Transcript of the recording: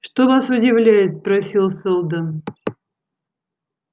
что вас удивляет спросил сэлдон